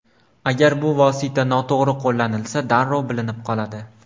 Agar bu vosita noto‘g‘ri qo‘llanilsa, darrov bilinib qoladi.